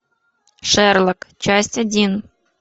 шерлок часть один